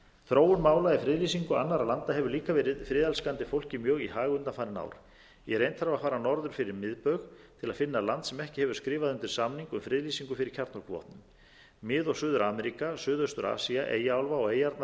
þróun mála í friðlýsingu annarra landa hefur líka verið friðelskandi fólki mjög í hag undanfarin ár í reynd þarf að fara norður fyrir miðbaug til að finna land sem ekki hefur skrifað undir samning um friðlýsingu fyrir kjarnorkuvopnum mið og suður ameríka suðaustur asía eyjaálfa og eyjarnar í